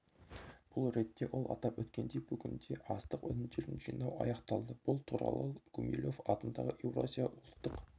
бұл ретте ол атап өткендей бүгінде астық өнімдерін жинау аяқталды бұл туралыл гумилев атындағы еуразия ұлттық